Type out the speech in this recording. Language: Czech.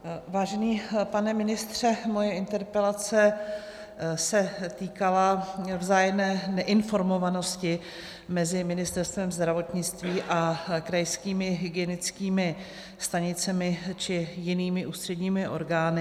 Vážený pane ministře, moje interpelace se týkala vzájemné neinformovanosti mezi Ministerstvem zdravotnictví a krajskými hygienickými stanicemi či jinými ústředními orgány.